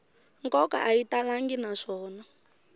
nkoka a yi talangi naswona